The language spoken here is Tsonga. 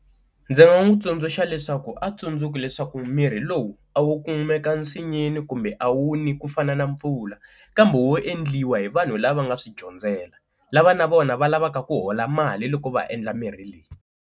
Ndzi nga n'wi tsundzuxa leswaku a tsundzuki leswaku mirhi lowu a wo kumeka nsinyeni kumbe a wu ni ku fana na mpfula, kambe wo endliwa hi vanhu lava nga swi dyondzela lava na vona va lavaka ku hola mali loko va endla mirhi leyi.